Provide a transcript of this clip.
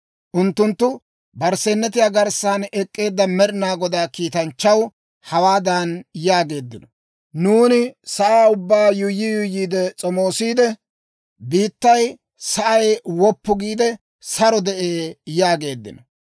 «Unttunttu barsseenetiyaa garssan ek'k'eedda Med'inaa Godaa kiitanchchaw hawaadan yaageeddino; ‹Nuuni sa'aa ubbaa yuuyyi yuuyyiide s'omoosiide; biittay sa'ay woppu giide, saro de'ee› yaageeddino.